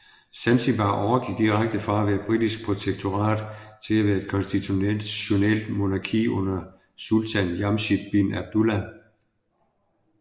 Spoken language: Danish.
Zanzibar overgik direkte fra at være britisk protektorat til at være et konstitutionelt monarki under Sultan Jamshid bin Abdullah